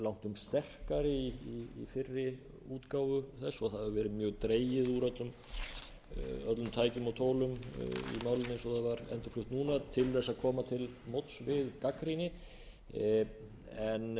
langtum sterkari í fyrri útgáfu þess og það hafi verið mjög dregið úr öllum tækjum og tólum í málinu eins og það var endurflutt núna til þess að koma til móts við